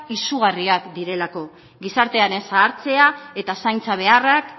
izugarriak direlako gizartearen zahartzea eta zaintza beharrak